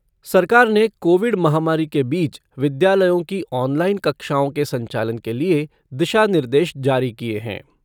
सरकार ने कोविड महामारी के बीच विद्यालयों की ऑनलाइन कक्षाओं के संचालन के लिए दिशा निर्देश जारी किए हैं।